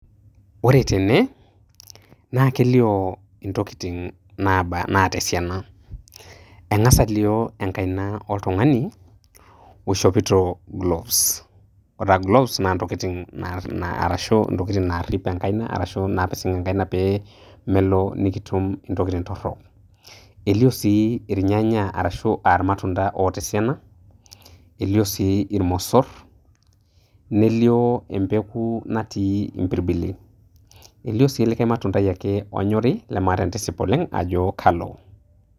Ore tene naa kelio ntokitin naaba naata esiana, eng'asa alio enkaina oltung'ani oishopito gloves , ore taa gloves naa ntokitin naa na arashu ntokitin naarip enkaina arashu naapising' enkaina pee melo nekitum ntokitin torok. Elio sii irnyanya arashu irmatunda oota esiana, elio sii irmosor, nelio empeku natii impirbili. Elio sii likai matundai ake onyori lemaata entisip oleng' ajo kalo.